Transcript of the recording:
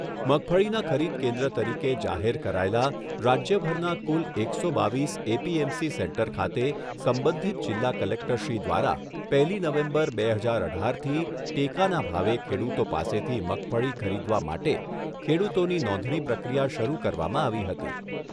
મગફળીના ખરીદ કેન્દ્ર તરીકે જાહેર કરાયેલા રાજ્યભરના કુલ એકસો બાવીસ એપીએમસી સેન્ટર ખાતે સંબંધિત જિલ્લા કલેક્ટરશ્રી દ્વારા પહેલી નવેમ્બર, બે હજાર અઢારથી ટેકાના ભાવે ખેડૂતો પાસેથી મગફળી ખરીદવા માટે ખેડૂતોની નોંધણી પ્રક્રિયા શરૂ કરવામાં આવી હતી.